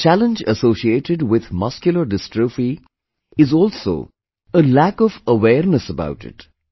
A challenge associated with Muscular Dystrophy is also a lack of awareness about it